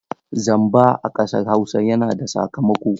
Zamba a ƙasar Hausa yana da sakamako.